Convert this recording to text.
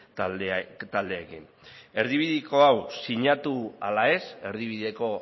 taldeekin erdibideko hau sinatu ala ez erdibideko